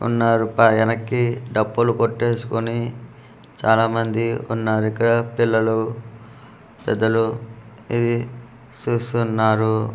వున్నారు పా వెన్నక్కి డప్పులు కోట్టేసుకొని చాల మంది వున్నారు ఇక్కడ పిల్లలు పెద్దలు ఇది చూస్తూ వున్నారు.